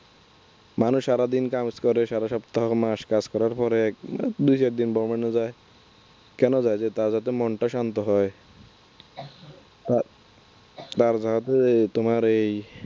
মানুষ সারাদিন কাজ করে সারা সপ্তাহ মাস কাজ করার পরে দু চার দিন ভ্রমনে যায়। কেন যায়? তার যাতে মনটা শান্ত হয় আর তোমার এই